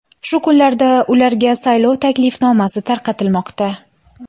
Shu kunlarda ularga saylov taklifnomasi tarqatilmoqda.